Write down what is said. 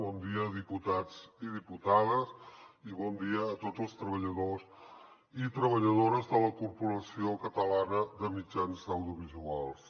bon dia diputats i diputades i bon dia a tots els treballadors i treballadores de la corporació catalana de mitjans audiovisuals